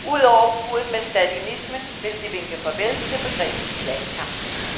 Ud over bruddet med stalinismen vil de vinke farvel til begrebet klassekamp.